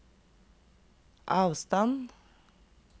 avstand